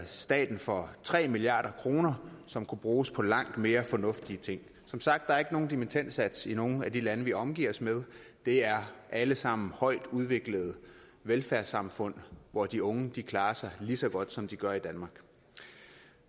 staten for tre milliard kr som kunne være brugt på langt mere fornuftige ting som sagt er der ikke nogen dimittendsats i nogen af de lande vi omgiver os med det er alle sammen højtudviklede velfærdssamfund hvor de unge klarer sig lige så godt som de gør i danmark